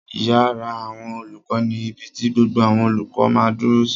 Ìyàrá àwọn olùkọ́ ni ibi ti gbogbo àwọn olùkọ́ máa dúró sí